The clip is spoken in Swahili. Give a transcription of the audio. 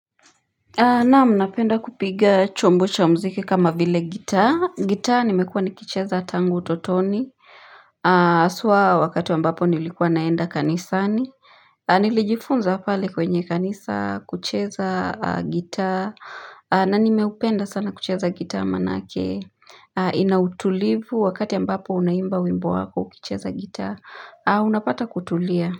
Naam, napenda kupiga chombo cha muziki kama vile gitaa, gitaa nimekuwa nikicheza tango utotoni haswa wakati ambapo nilikuwa naenda kanisani Nilijifunza pale kwenye kanisa kucheza gitaa na nimeupenda sana kucheza gitaa maanake ina utulivu wakati ambapo unaimba wimbo wako ukicheza gitaa unapata kutulia.